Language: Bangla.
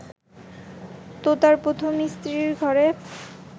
তোতার প্রথম স্ত্রীর ঘরে